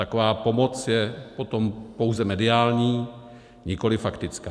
Taková pomoc je potom pouze mediální, nikoliv faktická.